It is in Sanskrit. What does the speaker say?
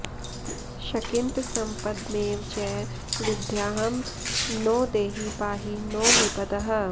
शकिन्त सम्पदमेव च विद्यां नो देहि पाहि नो विपदः